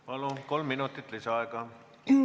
Palun, kolm minutit lisaaega!